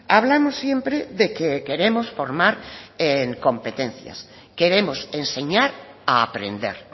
hablamos siempre de que queremos formar en competencias queremos enseñar a aprender